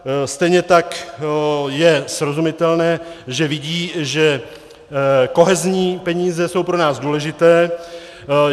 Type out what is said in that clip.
Stejně tak je srozumitelné, že vidí, že kohezní peníze jsou pro nás důležité.